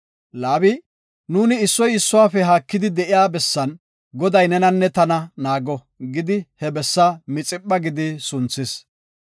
Laabi, “Nuuni issoy issuwafe haakidi de7iya bessan Goday nenanne tana naago” gidi he bessa Mixipha gidi sunthis.